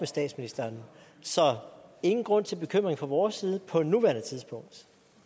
statsministeren så ingen grund til bekymring fra vores side på nuværende tidspunkt